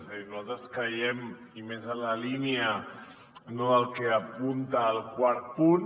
és a dir nosaltres creiem i més en la línia del que apunta el quart punt